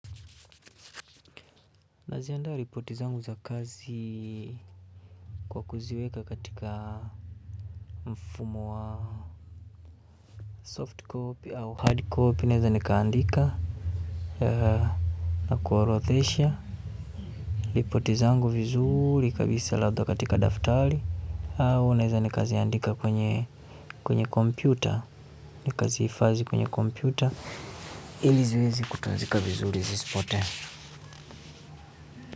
Naziandaa ripoti zangu za kazi kwa kuziweka katika mfumo wa soft copy au hard copy naweza nikaandika na kuorotmdhesha ripoti zangu vizuri kabisa labda katika daftari au naweza ni kaziandika kwenye kwenye komoyuta nikaziifadhi kwenye komptuta ili ziweze kutunzika vizuri zisipote.